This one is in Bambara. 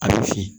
A bɛ fin